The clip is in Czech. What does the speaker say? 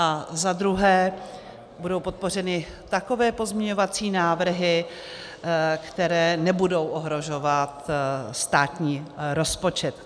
A za druhé, budou podpořeny takové pozměňovací návrhy, které nebudou ohrožovat státní rozpočet.